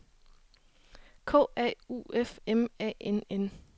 K A U F M A N N